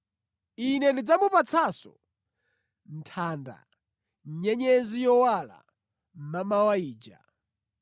Ine ndidzamupatsanso nthanda, nyenyezi yowala mʼmamawa ija.